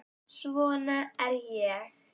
Svona er ég.